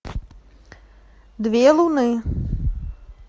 две луны